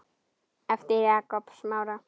eftir Jakob Smára.